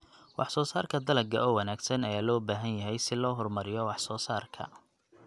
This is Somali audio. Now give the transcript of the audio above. Wax-soo-saarka dalagga oo wanaagsan ayaa loo baahan yahay si loo horumariyo wax-soo-saarka.